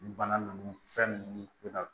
Ni bana ninnu fɛn ninnu na